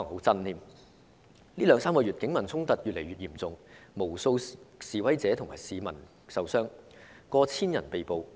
這兩三個月的警民衝突越來越嚴重，導致無數示威者和市民受傷，以及逾千人被捕。